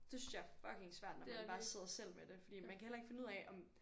Det synes jeg er fucking svært når man bare sidder selv med det fordi man kan heller ikke finde ud af om